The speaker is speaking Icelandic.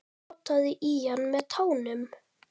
Potaði í hann með tánum.